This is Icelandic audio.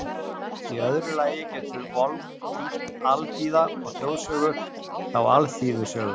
Í öðru lagi getur Volk þýtt alþýða, og þjóðsögur þá alþýðusögur.